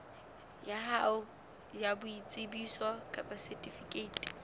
hao ya boitsebiso kapa setifikeiti